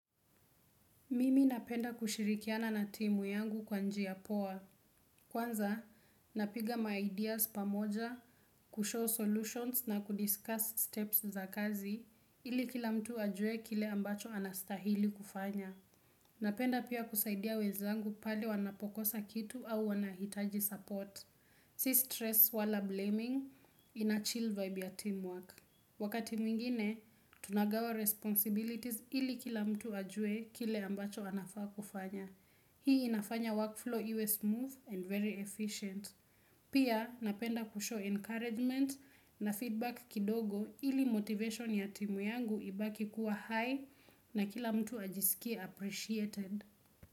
Mimi napenda kushirikiana na timu yangu kwa njia poa. Kwanza, napiga maideas pamoja, kushow solutions na kudiscuss steps za kazi ili kila mtu ajue kile ambacho anastahili kufanya. Napenda pia kusaidia wezangu pale wanapokosa kitu au wanahitaji support. Si stress wala blaming, inachil vibe ya teamwork. Wakati mwingine, tunagawa responsibilities ili kila mtu ajue kile ambacho anafaa kufanya. Hii inafanya workflow iwe smooth and very efficient. Pia napenda kushow encouragement na feedback kidogo ili motivation ya timu yangu ibaki kuwa high na kila mtu ajisikia appreciated.